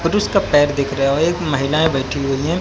और उसका पैर दिख रहा है और एक महिलाएं बैठी हुई हैं।